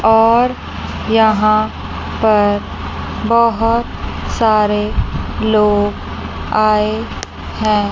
और यहां पर बोहोत सारे लोग आए हैं।